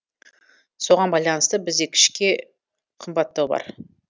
соған байланысты бізде кішке қымбаттау бар